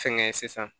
Fɛnkɛ sisan